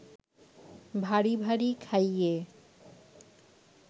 ভারি ভারি খাইয়ে